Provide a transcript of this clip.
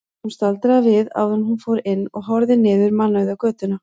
Hún staldraði við áður en hún fór inn og horfði niður mannauða götuna.